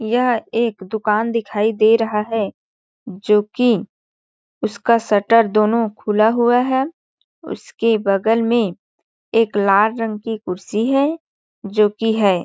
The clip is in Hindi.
यह एक दुकान दिखाई दे रहा है जो कि उसका शटर दोनों खुला हुआ है उसके बगल में एक लाल रंग की कुर्सी है जो कि हैं।